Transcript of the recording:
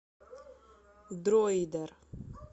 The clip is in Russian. дроидер